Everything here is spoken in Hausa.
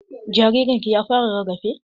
Jaririn ki ya fara rarafe?